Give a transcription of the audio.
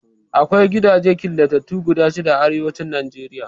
Akwai gidajen killatattu guda shida a Arewacin Najeriya.